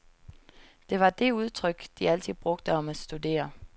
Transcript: Det var det udtryk, de altid brugte om at studere.